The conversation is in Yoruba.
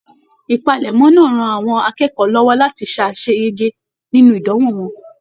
Ìpalẹ̀mọ́ náà rán àwọn akẹ́kọ̀ọ́ lọwọ láti ṣaseyege nínú ìdánwò wọn.